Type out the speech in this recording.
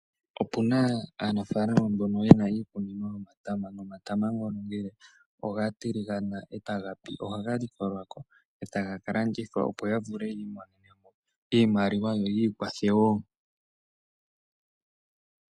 Opuna aanafalama mboka yena iikunino yomatama. Omatama ngono ngele oga tiligama ohaga likolwako ya kalandithe yo yiikwathe wo.